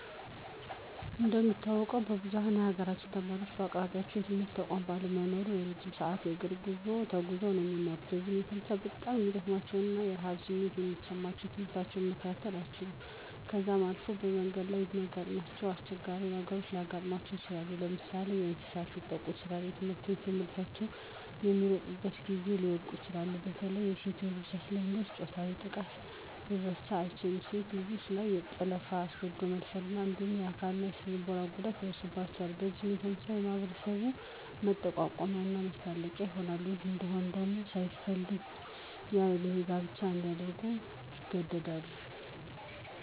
እንደሚታወቀው ብዝኋኑ የሀገራችን ተማሪወች በአቅራቢያቸው የትምህርት ተቋማት ባለመኖራቸው እረጅም ሰዐት የእግር ጉዞ ተጉዘው ነው የሚማሩት። በዚህም የተነሳ በጣም ስለሚደክማቸው እና የረሀብ ስሜት ስለሚሰማቸው ትምህርት መከታተል አይችሉም .ከዛም አልፎ በመንገድ ላይ የሚያጋጥማቸው አስቸጋሪ ነገሮች ሊያጋጥማቸው ይችላል። ለምሳሌ፦ በእንሰሳት ሊጠቁ ይችላሉ, ትምህርትቤት ለመድረስ በሚሮጡበት ጊዜ ሊወድቁ ይችላሉ። በተለይ በሴት እህቶቻችን ላይ የሚደርሰው ፆታዊ ጥቃት ሊረሳ አይችልም .ሴት ልጆች ላይ የጠለፋ, አስገድዶ የመደፈር እንዲሁም አካላዊ እና ስነልቦናዊ ጉዳት ይደርስባቸዋል። በዚህም የተነሳ በማህበረሰቡ መጠቋቆሚያ መሳለቂያ ይሆናል .ይህ እንይሆን ደግሞ ሳይፈልጉ ያለእድሜ ጋብቻ እንዲያደርጉ ይገደዳሉ።